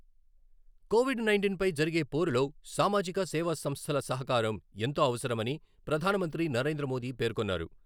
Covid nineteen పై జరిగే పోరులో సామాజిక సేవా సంస్థల సహకారం ఎంతో అవసరమని ప్రధాన మంత్రి నరేంద్ర మోదీ పేర్కొన్నారు.